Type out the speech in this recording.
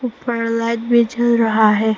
ऊपर लाइट भी जल रहा है।